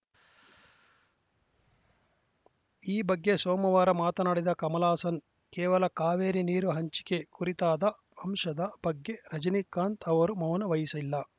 ಈ ಬಗ್ಗೆ ಸೋಮವಾರ ಮಾತನಾಡಿದ ಕಮಲ್‌ ಹಾಸನ್‌ ಕೇವಲ ಕಾವೇರಿ ನೀರು ಹಂಚಿಕೆ ಕುರಿತಾದ ಅಂಶದ ಬಗ್ಗೆ ರಜನೀಕಾಂತ್‌ ಅವರು ಮೌನ ವಹಿಸಿಲ್ಲ